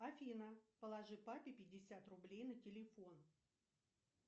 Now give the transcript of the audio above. афина положи папе пятьдесят рублей на телефон